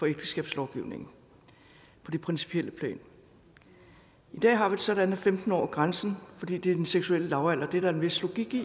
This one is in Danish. ægteskabslovgivningen på det principielle plan i dag har vi det sådan at femten år er grænsen fordi det er den seksuelle lavalder det er der en vis logik i